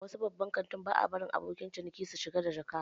A wasu babban kantin ba a barin abokan ciniki su shiga da jaka